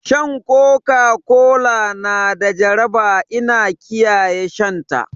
Shan Coca Cola na da jaraba ina kiyaye shan ta